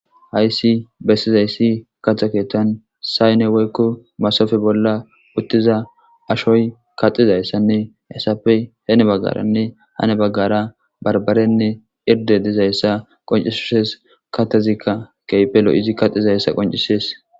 Hayssi bessiza issi kaxa keettan sayne woykko masoppe bolla uttiza ashoy kaxiza issanne haysappe hinni baggaranne yaa baggara barbarenne irdde diza issa qoncisses .Katezikka keehippe lo'izi kaxiza issa qoncisees.